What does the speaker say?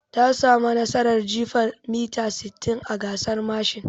Ta samu nasarar jifan mita sittin a gasar mashin.